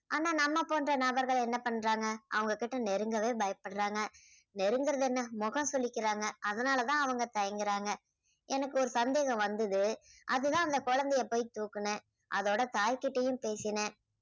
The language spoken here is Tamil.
ஆனா நம்மை போன்ற நபர்கள் என்ன பண்றாங்க அவங்ககிட்ட நெருங்கவே பயப்படுறாங்க. நெருங்குறது என்ன முகம் சுளிக்கிறாங்க. அதனால தான் அவங்க தயங்குறாங்க. எனக்கு ஒரு சந்தேகம் வந்தது அதுதான் அந்த குழந்தையை போய் தூக்குனேன். அதோட தாய்கிட்டையும் பேசினேன்.